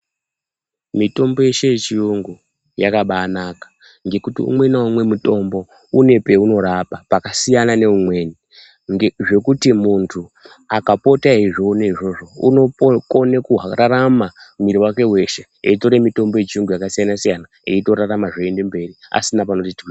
Mitombo yeshe ye chiyungu yakabai naka ngekuti umwe na umwe mutombo une peuno rapa paka siyana ne umweni zvekuti muntu akapote eyi zvoona izvozvo unokone kurarama mwiri wake weshe eyitore mutombo ye chiyungu yaka siyana siyana eyito rarama zveyi ende mberi asina panoti twii.